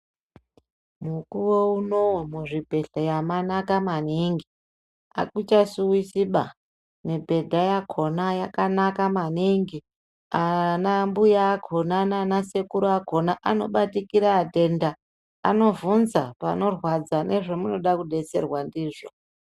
Mukuwo unowu , muzvibhehlera mwanaka maningi ,akuchasuwisi ba ,nemibhedha yakhona yakanaka maningi. Ana mbuya akhona nana sekuru akhona anobatikira atenda ,anobvunza panorwadza nezvemunoda kubetserwa ndizvo.